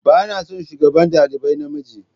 Ba na son shugaban dalibai na mijin.